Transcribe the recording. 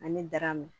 Ani daraamu